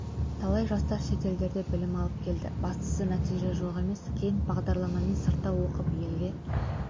талай жастар шетелдерде білім алып келді бастысы нәтиже жоқ емес кейін бағдарламамен сыртта оқып елге